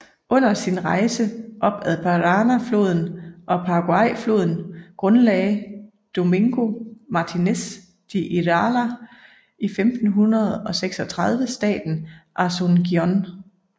Under sin rejse op ad Paranáfloden og Paraguayfloden grundlagde Domingo Martínez de Irala 1536 staden Asunción